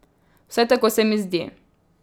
Vsaj tako se mi zdi.